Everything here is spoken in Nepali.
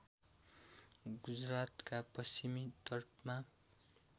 गुजरातका पश्चिमी तटमा